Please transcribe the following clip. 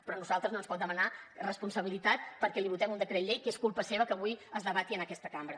però a nosaltres no ens pot demanar responsabilitat perquè li votem un decret llei que és culpa seva que avui es debati en aquesta cambra